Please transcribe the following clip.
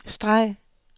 streg